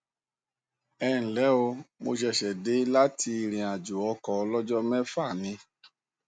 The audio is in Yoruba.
ẹ ǹ lẹ o mo ṣẹṣẹ dé láti ìrìnàjò ọkọ ọlọjọ mẹfà ni